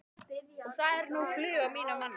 Og þá er nú flug á mínum manni.